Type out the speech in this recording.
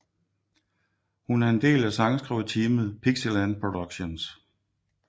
Hun er en del af sangskriverteamet Pixieland Productions